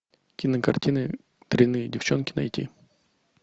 кинокартина дрянные девчонки найти